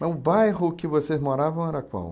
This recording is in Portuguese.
Mas o bairro que vocês moravam era qual?